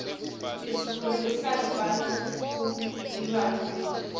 isfundzisa ngebantfutilwane netitjalo